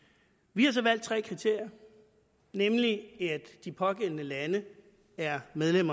vi har så valgt tre kriterier nemlig at de pågældende lande er medlem